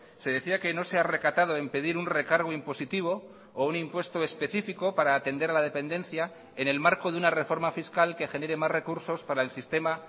se decía que no sea recatado en pedir un recargo impositivo o un impuesto específico para atender a la dependencia en el marco de una reforma fiscal que genere más recursos para el sistema